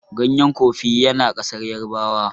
ganyen kofi ya na kasar yarabawa